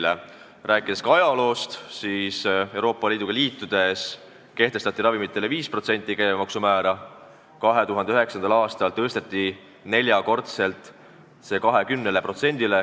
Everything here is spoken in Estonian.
Kui rääkida ajaloost, siis Euroopa Liiduga ühinedes kehtestati meil ravimitele käibemaksu määr 5%, 2009. aastal tõsteti see neljakordseks ehk 20%-ni.